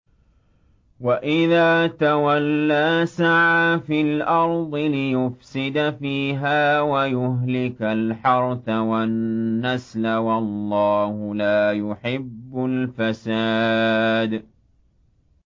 وَإِذَا تَوَلَّىٰ سَعَىٰ فِي الْأَرْضِ لِيُفْسِدَ فِيهَا وَيُهْلِكَ الْحَرْثَ وَالنَّسْلَ ۗ وَاللَّهُ لَا يُحِبُّ الْفَسَادَ